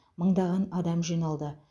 мыңдаған адам жиналды